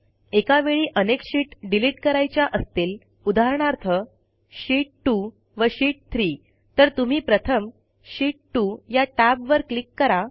एकावेळी अनेक sheet delete करायच्या असतील उदाहरणार्थ शीत 2 व शीत 3 तर तुम्ही प्रथम शीत 2 या टॅबवर क्लिक करा